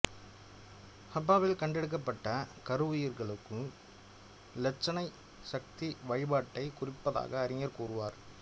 ஹப்பாவில் கண்டெடுக்கப்பட்ட கருவுயிர்க்கும் இலட்சனை சக்தி வழிபாட்டை குறிப்பதாக அறிஞர் கூறுவர்